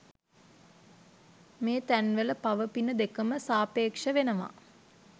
මේතැන්වල පව පින දෙකම සාපේක්ෂ වෙනවා